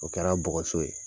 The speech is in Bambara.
O kɛra bɔgɔso ye.